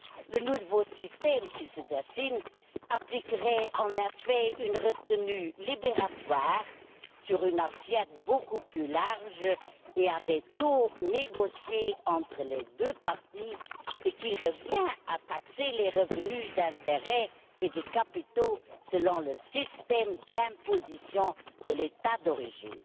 Le nouveau système qui se dessine appliquerait en effet une retenue libératoire sur une assiette beaucoup plus large et à des taux négociés entre les deux parties, ce qui revient à taxer les revenus des intérêts et des capitaux selon le système d'imposition de l'État d'origine.